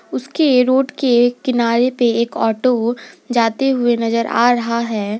उसके रोड के किनारे पे एक ऑटो जाते हुए नजर आ रहा है।